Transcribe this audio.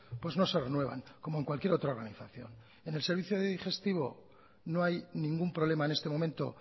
pues no se renuevan como en cualquier otra organización en el servicio de digestivo no hay ningún problema en este momento